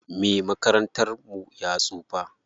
Me makarantar mu ya tsufa.